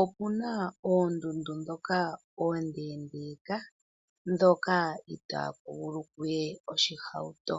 opu na oondundu ndhoka oondeendeeka ndhoka itaaku vulu ku ye oshihauto.